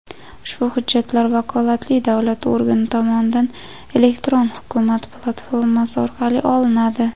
ushbu hujjatlar vakolatli davlat organi tomonidan "Elektron hukumat" platformasi orqali olinadi.